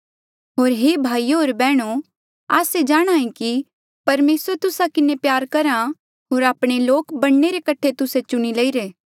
होर हे भाईयो होर बैहणो आस्से जाणहां ऐें कि परमेसरे तुस्सा किन्हें प्यार करहा होर आपणे लोक बणने रे कठे तुस्से चुणिरे ऐें